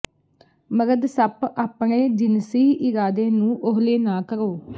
ਮਰਦ ਸੱਪ ਆਪਣੇ ਜਿਨਸੀ ਇਰਾਦੇ ਨੂੰ ਓਹਲੇ ਨਾ ਕਰੋ